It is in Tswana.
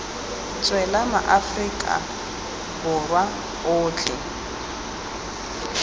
tswela ma aforika borwa otlhe